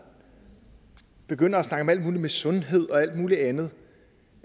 begynder at snakke om alt muligt med sundhed og alt muligt andet